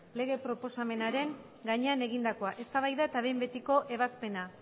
lege proposamenaren gainean egindakoa eztabaida eta behin betiko ebazpena